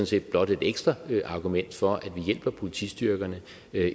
set blot et ekstra argument for at vi hjælper politistyrkerne